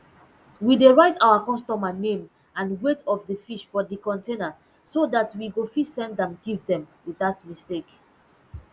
we dey write our customer name and weight of d fish for d container so dat we go fit send am give dem without mistake